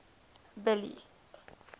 billy